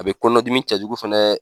A be kɔnɔdimi cɛjugu fɛnɛ